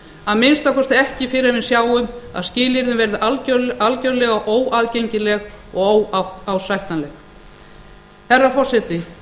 að minnsta kosti ekki fyrr en við sjáum að skilyrðin verði algerlega óaðgengileg og óásættanleg herra forseti